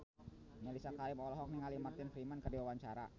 Mellisa Karim olohok ningali Martin Freeman keur diwawancara